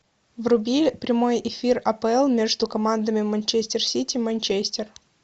вруби прямой эфир апл между командами манчестер сити манчестер